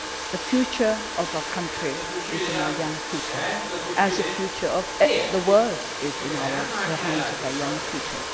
to have. The future of our country is in our young people, as the future of the world is in the hands of our young